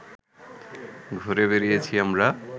ঘুরে বেড়িয়েছি আমরা